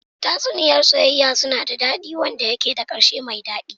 Tatsuniya soyayya suna da dadi, wanda suke da karshe mai dadi.